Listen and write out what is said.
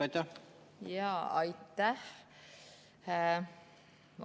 Aitäh!